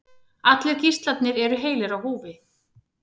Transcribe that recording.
Allir gíslarnir eru heilir á húfi